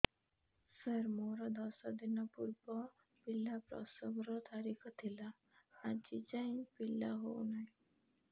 ସାର ମୋର ଦଶ ଦିନ ପୂର୍ବ ପିଲା ପ୍ରସଵ ର ତାରିଖ ଥିଲା ଆଜି ଯାଇଁ ପିଲା ହଉ ନାହିଁ